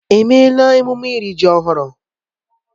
Èmeéla emume iri ji ọhụrụ?